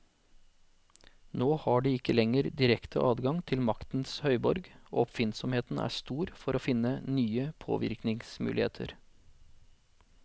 Nå har de ikke lenger direkte adgang til maktens høyborg, og oppfinnsomheten er stor for å finne nye påvirkningsmuligheter.